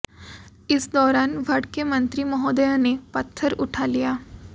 इस दौरान भड़के मंत्री महोदय ने पत्थर उठा लिया